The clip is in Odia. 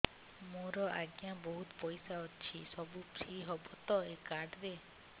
ମୋର ଆଜ୍ଞା ବହୁତ ପଇସା ଅଛି ସବୁ ଫ୍ରି ହବ ତ ଏ କାର୍ଡ ରେ